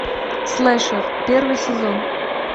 слэшер первый сезон